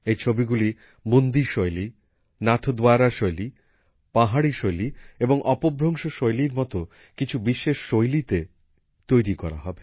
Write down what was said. এই ছবিগুলি বুন্দি শৈলী নাথদ্বারা শৈলী পাহাড়ি শৈলী এবং অপভ্রংশ শৈলীর মতো কিছু বিশেষ শৈলীতে তৈরি করা হবে